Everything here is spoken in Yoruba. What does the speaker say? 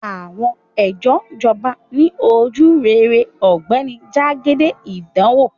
Àwọn ẹjọ́ jọba ni ojurere ogbeni jagede idanwo